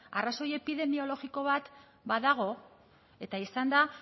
arrazoi epidemiologiko bat badago eta izan da